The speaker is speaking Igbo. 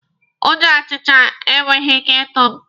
Ụjọ ọchịcha enweghị ike ịtụ mụ.